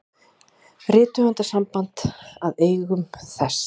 Rithöfundasamband að eigum þess.